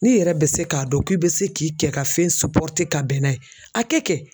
N'i yɛrɛ bɛ se k'a dɔn k'i bɛ se k'i cɛ ka fɛn ka bɛn n'a ye a kɛ kɛ.